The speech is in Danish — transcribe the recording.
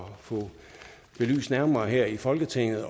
at få belyst nærmere her i folketinget